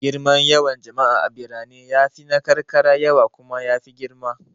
Girman yawan jama'a a birane ya fi na karkara yawa kuma ya fi girma.